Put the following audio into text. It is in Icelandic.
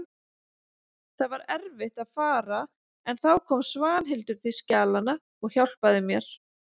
Það var erfitt að fara en þá kom Svanhildur til skjalanna og hjálpaði mér.